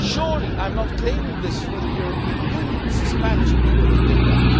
Surely I am not claiming this for the European Union it was the Spanish people who did that.